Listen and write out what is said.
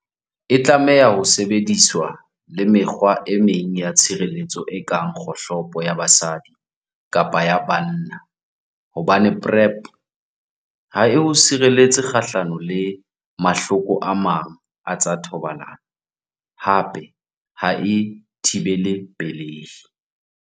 E tlameha ho sebediswa le mekgwa e meng ya tshireletso e kang kgohlopo ya basadi kapa ya banna hobane PrEP ha e o sireletse kgahlano le mahloko a mang a tsa thobalano, hape ha e thibele pelehi.